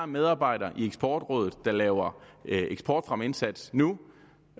medarbejdere i eksportrådet der laver eksportfremmeindsats nu